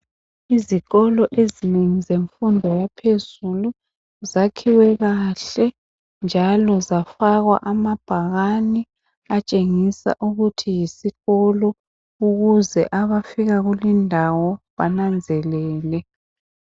Izikolo ezinengi zemfundo yaphezulu zakhiwe kahle njalo zafakwa amabhakane atshengisa ukuthi yisikolo ukuze abafika kulindawo bananzelele